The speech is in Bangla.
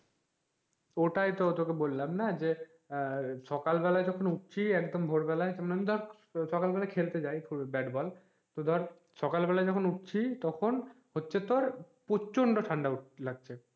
ওটাই তো তোকে বললাম যে আহ সকাল বেলা যখন উঠছি একদম ভোর বেলায় মানে সকাল বেলায় খেলতে যাই ব্যাট বল তো ধর সকাল বেলায় যখন উঠছি তখন হচ্ছে তোর প্রচন্ড ঠান্ডা লাগছে,